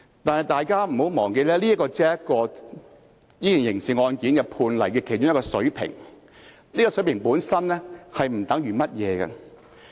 但是，大家不要忘記，這只是這宗刑事案件判例的其中一個水平，而這個水平本身並不代表甚麼。